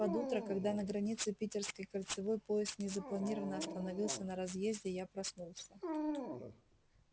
под утро когда на границе питерской кольцевой поезд незапланированно остановился на разъезде я проснулся